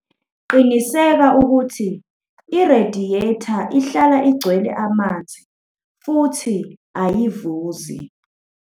Qinisekisa ukuthi irediyetha ihlala igcwele amanzi futhi ayivuzi.